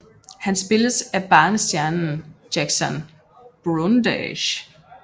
Han spilles af barnestjernen Jackson Brundage